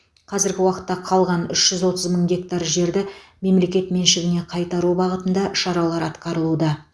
қазіргі уақытта қалған үш жүз отыз мың гектар жерді мемлекет меншігіне қайтару бағытында шаралар атқарылуда